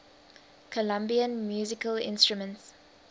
colombian musical instruments